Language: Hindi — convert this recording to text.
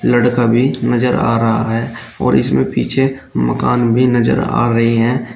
लड़का भी नजर आ रहा है और इसमें पीछे मकान भी नजर आ रहे हैं।